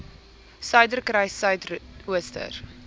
suiderkruissuidooster